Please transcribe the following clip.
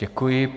Děkuji.